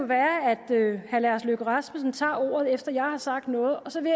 være at herre lars løkke rasmussen tager ordet efter at jeg har sagt noget og så vil